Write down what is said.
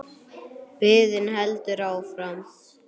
Biðin heldur áfram.